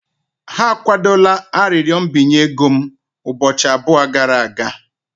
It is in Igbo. Ha akwadola arịrịọ mbinye ego m ụbọchị abụọ gara aga.